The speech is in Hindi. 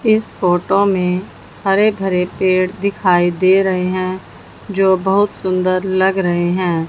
इस फोटो में हरे भरे पेड़ दिखाई दे रहे हैं जो बहुत सुंदर लग रहे हैं।